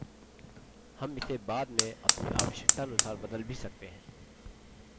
हम इसे बाद में अपनी आवश्यकतानुसार बदल भी सकते हैं